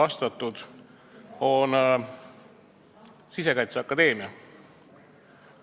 See puudutab Sisekaitseakadeemiat.